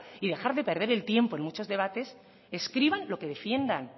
y dejar de perder el tiempo en muchos debates escriban lo que defiendan